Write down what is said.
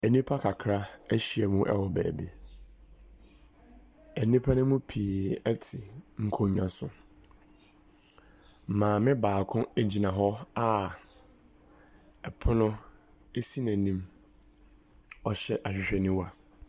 Nnipa kakra ahyia mu wɔ baabi. Nnipa no mu pii te nkonnwa so. Maame baako gyina hɔ a pono si n'anim. Ɔhyɛ ahwehwɛniwa.